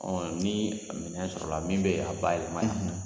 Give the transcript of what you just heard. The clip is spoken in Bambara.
Ɔ ni minɛn sɔrɔla min bɛ a ba yɛlɛma yan.